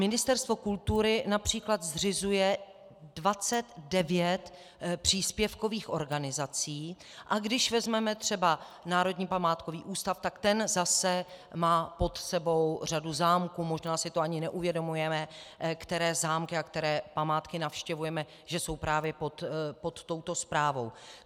Ministerstvo kultury například zřizuje 29 příspěvkových organizací, a když vezmeme třeba Národní památkový ústav, tak ten zase má pod sebou řadu zámků, možná si to ani neuvědomujeme, které zámky a které památky navštěvujeme, že jsou právě pod touto správou.